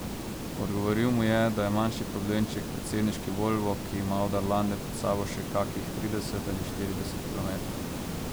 Odgovoril mu je, da je manjši problemček predsedniški volvo, ki ima do Arlande pred sabo še kakih trideset ali štirideset kilometrov.